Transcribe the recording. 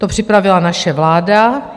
To připravila naše vláda.